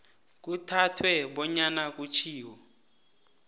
kuthathwe bonyana kutjhiwo